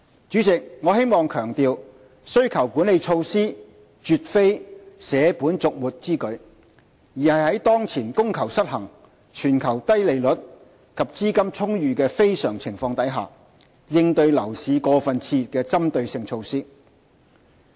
主席，我希望強調，需求管理措施絕非捨本逐末之舉，而是在當前供求失衡、全球低利率及資金充裕的非常情況下，應對樓市過分熾熱的針對性措施。